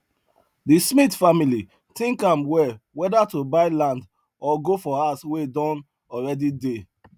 the smith family think am well whether to buy land or go for house wey don already dey